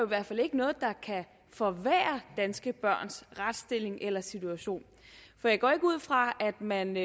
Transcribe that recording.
hvert fald ikke noget der kan forværre danske børns retsstilling eller situation for jeg går ikke ud fra at man